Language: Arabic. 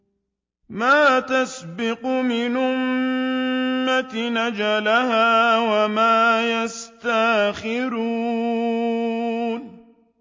مَّا تَسْبِقُ مِنْ أُمَّةٍ أَجَلَهَا وَمَا يَسْتَأْخِرُونَ